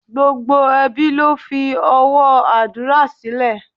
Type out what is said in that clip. Gbogbo ẹbí ló fi owó àdúrà sílẹ̀.